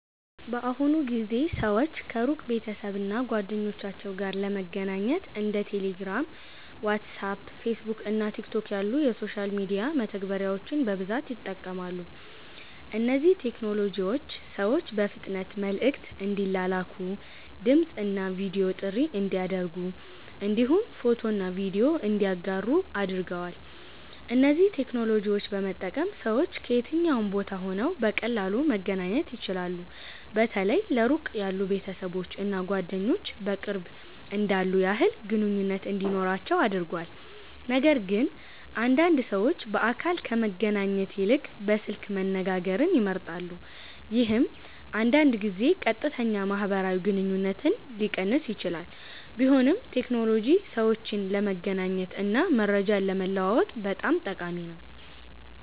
በአሁኑ ጊዜ ሰዎች ከሩቅ ቤተሰብ እና ጓደኞቻቸው ጋር ለመገናኘት እንደ ቴሌግራም፣ ዋትስአፕ፣ ፌስቡክ እና ቲክቶክ ያሉ የሶሻል ሚዲያ መተግበሪያዎችን በብዛት ይጠቀማሉ። እነዚህ ቴክኖሎጂዎች ሰዎች በፍጥነት መልዕክት እንዲላላኩ፣ ድምፅ እና ቪዲዮ ጥሪ እንዲያደርጉ እንዲሁም ፎቶና ቪዲዮ እንዲያጋሩ አድርገዋል። እነዚህን ቴክኖሎጂዎች በመጠቀም ሰዎች ከየትኛውም ቦታ ሆነው በቀላሉ መገናኘት ይችላሉ። በተለይ ለሩቅ ያሉ ቤተሰቦች እና ጓደኞች በቅርብ እንዳሉ ያህል ግንኙነት እንዲኖራቸው አድርጓል። ነገርግን አንዳንድ ሰዎች በአካል ከመገናኘት ይልቅ በስልክ መነጋገርን ይመርጣሉ፣ ይህም አንዳንድ ጊዜ ቀጥተኛ ማህበራዊ ግንኙነትን ሊቀንስ ይችላል። ቢሆንም ቴክኖሎጂ ሰዎችን ለመገናኘት እና መረጃ ለመለዋወጥ በጣም ጠቃሚ ነው።